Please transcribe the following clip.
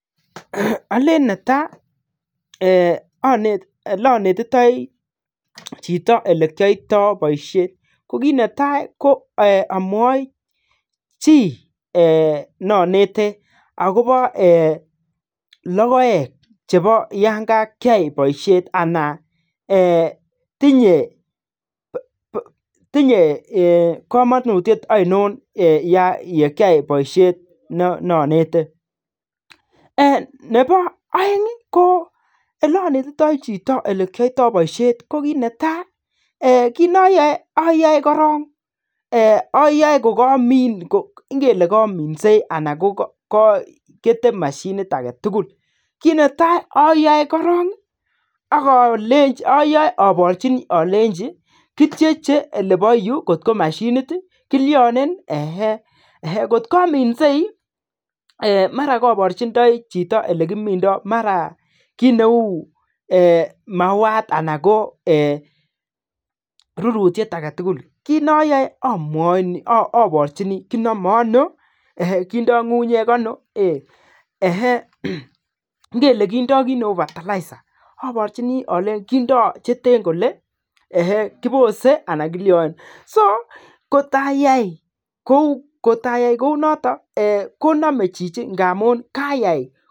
Alen netai oleanetitoi Chito oleanetitoi Chito ilekiyoitoi baishet ko kit netai ko amwai chi neanete akoba logoek Cheba Yan kakia baishet anan tinye kamanutiet ainon Yan kakia baishet neanete Nebo aeng ko inanetitoi Chito olekiyoito baishet ko kit netai kit nayae ayae korong Kole kaminsei anan keteme ak mashinit agetugul kit netai ayae korong akalenchi abarchi alenchi kityeche oleba Yu kotkomashinit kilianen kot kaminsei mara kabarchindoi Chito olekimindoi marakit Neu mauwat anan ko rurutiet agetugul kit nayae abarchini ak kenamen ano kidoe ngungunyek ano ngele kindo kit Neu fertilizers abarchini alenchi kindo cheten Kole kibose anan kolanchi kotayai kounoton konamen Chichi amun kayai